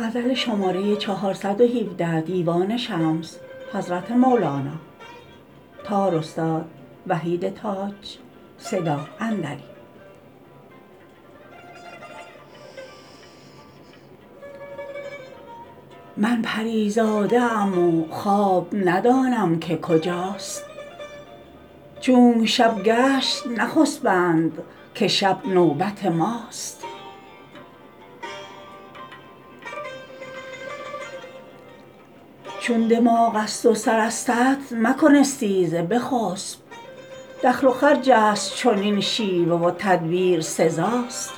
من پری زاده ام و خواب ندانم که کجاست چونک شب گشت نخسپند که شب نوبت ماست چون دماغ است و سر استت مکن استیزه بخسب دخل و خرج است چنین شیوه و تدبیر سزاست